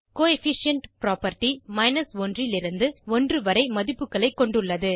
coefficient property 1லிருந்து 1 வரை மதிப்புகளை கொண்டுள்ளது